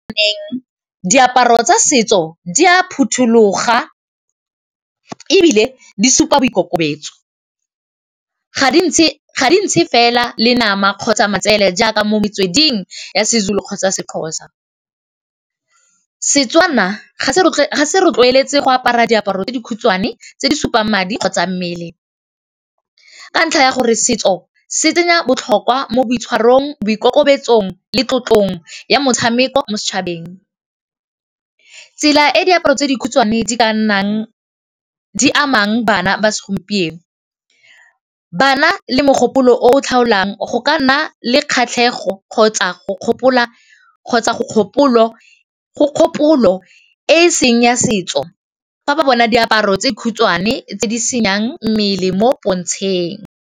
Diaparo tsa setso di a phuthuloga e bile di supa boikokobetso ga dintšhe fela le nama kgotsa matsele jaaka mo metsweding ya seZulu kgotsa seXhosa, Setswana ga se rotloeletse go apara diaparo tse dikhutshwane tse di supang madi kgotsa mmele ka ntlha ya gore setso se tsenya botlhokwa mo boitshwarong boikokobetsong le tlotlong ya motshameko mo setšhabeng, tsela e diaparo tse dikhutshwane di amang bana ba segompieno bana le mogopolo o o tlhalang go ka nna le kgatlhego kgotsa go kgopolo e seng ya setso fa ba bona diaparo tse di khutshwane tse di senang mmele mo pontsheng.